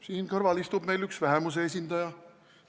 Siin kõrval istub meil üks vähemuse esindaja.